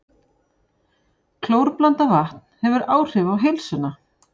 Klórblandað vatn hefur áhrif á heilsuna